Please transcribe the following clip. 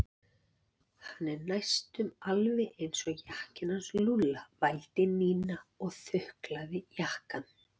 Hann er næstum alveg eins og jakkinn hans Lúlla vældi Nína og þuklaði jakkann.